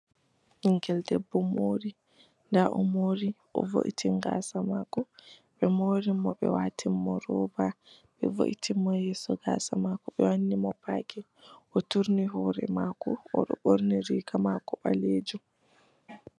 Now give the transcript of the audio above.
Ɓingel debbo mori. Nda o mori o vo'itini gaasa maako. Ɓe mori mo, ɓe wanni mo roba, ɓe vo'itini mo yeso gaasa maako, ɓe wanni mo paakin. O turni hoore maako, o ɗo ɓorni riiga maako ɓaleejum.